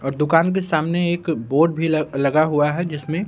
और दुकान के सामने एक बोर्ड भी ल लगा हुआ है जिसमें--